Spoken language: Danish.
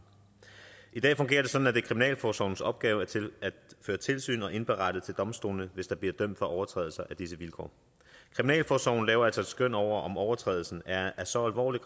i dag fungerer det sådan at det er kriminalforsorgens opgave at føre tilsyn og indberette til domstolene hvis der bliver dømt for overtrædelser af disse vilkår kriminalforsorgen laver altså et skøn over om overtrædelsen er af så alvorlig